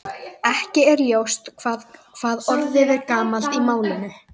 Akureyri og nýlega Reyðarfjörður Hversu lengi ertu að koma þér í gang á morgnanna?